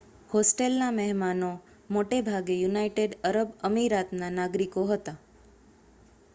હોસ્ટેલના મહેમાનો મોટેભાગે united Arab અમિરાતના નાગરિકો હતાં